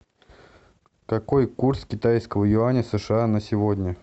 какой курс китайского юаня сша на сегодня